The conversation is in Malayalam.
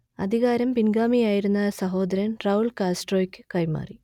അധികാരം പിൻഗാമിയായിരുന്ന സഹോദരൻ റൗൾ കാസ്ട്രോക്ക് കൈമാറി